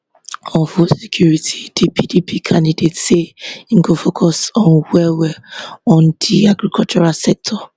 on food security di pdp candidate say im go focus on wellwell on di agricultural sector